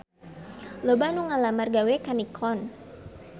Loba anu ngalamar gawe ka Nikon